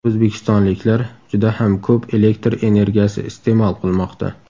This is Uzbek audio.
O‘zbekistonliklar juda ham ko‘p elektr energiyasi iste’mol qilmoqda.